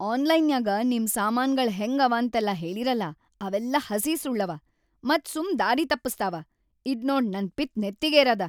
ಆನ್ಲೈನ್ಯಾಗ ನಿಮ್‌ ಸಾಮಾನ್ಗಳ್‌ ಹೆಂಗ ಅವಾಂತೆಲ್ಲಾ ಹೇಳೀರಲಾ ಅವೆಲ್ಲಾ ಹಸಿ ಸುಳ್ಳವ ಮತ್‌ ಸುಮ್ ದಾರಿ ತಪ್ಪಸ್ತಾವ, ಇದ್ನೋಡ್ ನನ್‌ ಪಿತ್ ನೆತ್ತಿಗೆರೇದ.